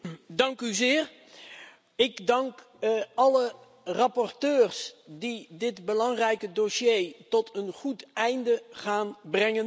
Voorzitter, ik dank alle rapporteurs die dit belangrijke dossier tot een goed einde gaan brengen.